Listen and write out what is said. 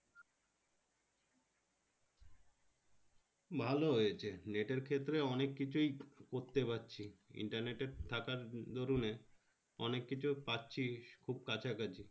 ভালো হয়েছে net এর ক্ষেত্রে অনেক কিছুই করতে পারছি। internet এর থাকার দরুন এ অনেক কিছু পাচ্ছি খুব কাছাকাছি।